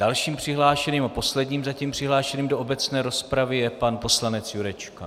Dalším přihlášeným a posledním zatím přihlášeným do obecné rozpravy je pan poslanec Jurečka.